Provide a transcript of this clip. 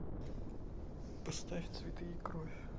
поставь цветы и кровь